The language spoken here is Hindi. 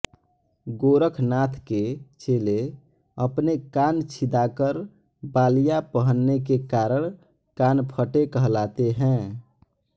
गोरखनाथ के चेले अपने कान छिदाकर बालियाँ पहनने के कारण कानफटे कहलाते हैं